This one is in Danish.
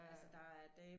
Altså